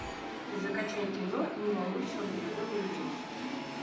закачай кино не волнуйся он далеко не уйдет